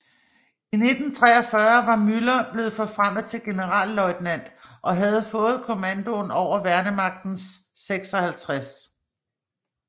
I 1943 var Müller blevet forfremmet til generalløjtnant og havde fået kommandoen over Værnemagtens 56